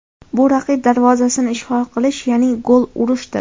Bu raqib darvozasini ishg‘ol qilish, ya’ni gol urishdir.